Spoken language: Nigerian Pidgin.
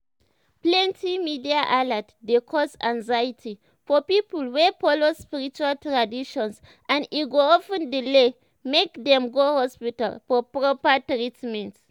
plenty media alert dey cause anxiety for people wey follow spiritual traditions and e go of ten delay make dem go hospital for proper treatment."